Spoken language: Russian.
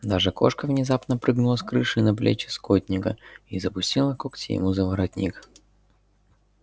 даже кошка внезапно прыгнула с крыши на плечи скотника и запустила когти ему за воротник